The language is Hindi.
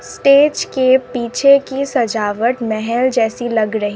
स्टेज के पीछे की सजावट महल जैसी लग रही--